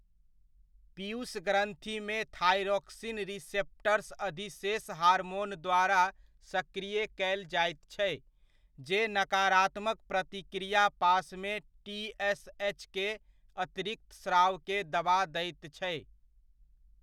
पीयूष ग्रन्थिमे thyroxine receptors अधिशेष hormone द्वारा सक्रिय कयल जाइत छै, जे नकारात्मक प्रतिक्रिया पाशमे टीएसएचके अतिरिक्त स्रावके दबा दैत छै।